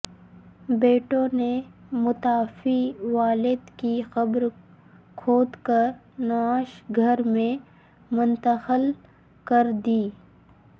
بیٹوں نے متوفی والد کی قبر کھود کرنعش گھر میں منتقل کر دی